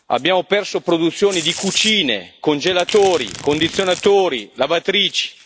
abbiamo perso produzioni di cucine, congelatori, condizionatori e lavatrici.